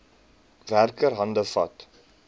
werker hande vat